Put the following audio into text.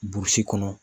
kɔnɔ